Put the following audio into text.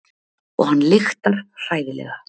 Og hann lyktar hræðilega.